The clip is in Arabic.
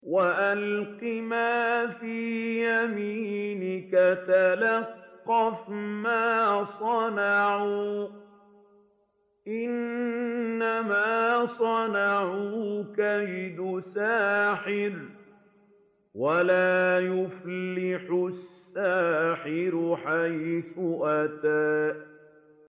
وَأَلْقِ مَا فِي يَمِينِكَ تَلْقَفْ مَا صَنَعُوا ۖ إِنَّمَا صَنَعُوا كَيْدُ سَاحِرٍ ۖ وَلَا يُفْلِحُ السَّاحِرُ حَيْثُ أَتَىٰ